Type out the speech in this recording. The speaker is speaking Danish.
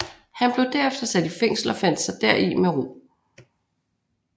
Han blev derefter sat i fængsel og fandt sig deri med ro